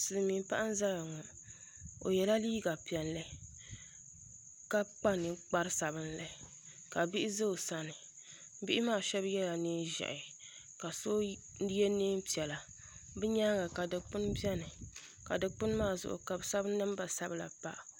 Silmiin paɣa n ʒɛya ŋɔ o yɛla liiga piɛlli ka kpa ninkpari sabinli ka bihi ʒɛ o sani bihi maa shab yɛla neen ʒiɛhi ka so yɛ neen piɛla bi nyaanga ka dikpuni biɛni ka dikpuni maa zuɣu ka bi sabi namba sabila pa